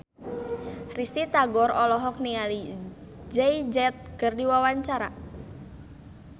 Risty Tagor olohok ningali Jay Z keur diwawancara